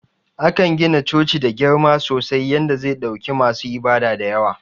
Akan gina coci da girma sosai yanda ze ɗauki masu ibada dayawa.